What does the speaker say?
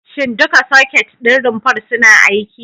Shin duka soket ɗin rumfar suna aiki?